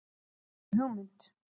ÉG ER MEÐ HUGMYND.